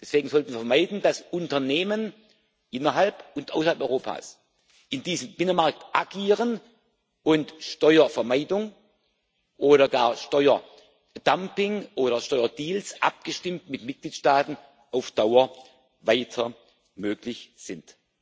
Deswegen sollten wir vermeiden, dass Unternehmen innerhalb und außerhalb Europas in diesem Binnenmarkt agieren und Steuervermeidung oder gar Steuerdumping oder Steuerdeals abgestimmt mit Mitgliedstaaten auf Dauer weiter möglich sind.